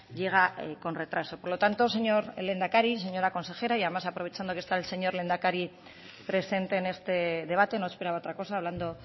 llega con retraso por lo tanto señor lehendakari señora consejera y además aprovechando que está el señor lehendakari presente en este debate no esperaba otra cosa hablando